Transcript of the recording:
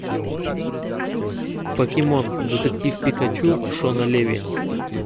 покемон детектив пикачу шона леви